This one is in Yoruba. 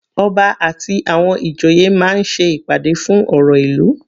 Ọba àti àwọn ìjòyè máa ń ṣe ìpàdé fún ọ̀rọ̀ ìlú.